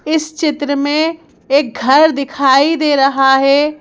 इस चित्र में एक घर दिखाई दे रहा है।